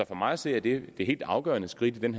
for mig at se er det det helt afgørende skridt i den